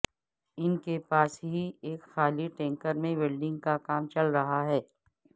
ان کے پاس ہی ایک خالی ٹینکر میں ویلڈنگ کا کام چل رہا تھا